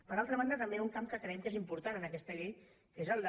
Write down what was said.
per altra banda també hi ha un camp que creiem que és important en aquesta llei que és el de